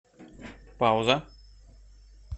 пауза